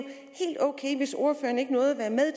helt ok hvis ordføreren ikke nåede at være med